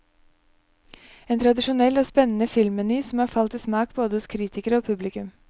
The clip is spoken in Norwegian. En tradisjonell og spennende filmmeny som har falt i smak både hos kritikere og publikum.